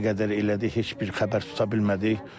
Nə qədər elədik heç bir xəbər tuta bilmədik.